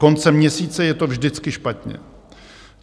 Koncem měsíce je to vždycky špatně.